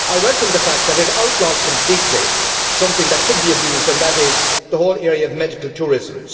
I welcome the fact that it outlaws completely something which could be abused and that is the whole area of medical tourism.